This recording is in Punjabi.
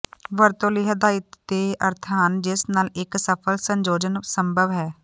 ਵਰਤੋਂ ਲਈ ਹਦਾਇਤ ਦੇ ਅਰਥ ਹਨ ਜਿਸ ਨਾਲ ਇਕ ਸਫਲ ਸੰਯੋਜਨ ਸੰਭਵ ਹੈ